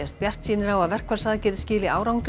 bjartsýnir á að verkfallsaðgerðir skili árangri